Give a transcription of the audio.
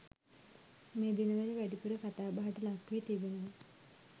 මේ දිනවල වැඩිපුර කතාබහට ලක්වී තිබෙනවා.